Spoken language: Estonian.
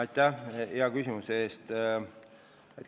Aitäh hea küsimuse eest!